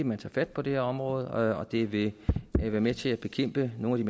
man tager fat på det her område og det vil være med til at bekæmpe nogle